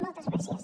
moltes gràcies